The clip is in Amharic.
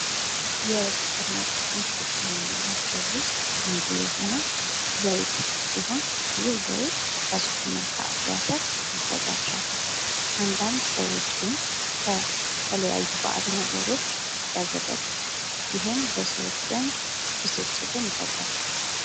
የሱፐር ማርኬት ምርቶች ከምንላቸው ውስጥ አንዱ የሆነው ዘይት ሲሆን ይህ ዘይት ከሱፍና ከአኩሪ አተር ይዘጋጃል። አንዳንድ ሰዎች ግን ከተለያዩ ባዕድ ነገሮች ያዘጋጁታል ይህም በሰዎች ዘንድ ብስጭትን ይፈጥራል።